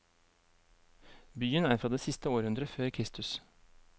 Byen er fra det siste århundret før kristus.